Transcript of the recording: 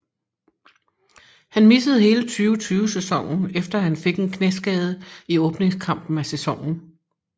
Han missede hele 2020 sæsonen efter han fik en knæskade i åbningskampen af sæsonen